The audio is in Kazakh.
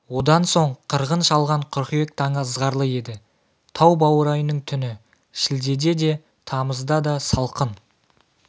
одан соң қырғын шалған қыркүйек таңы ызғарлы еді тау баурайының түні шілдеде де тамызда да салқын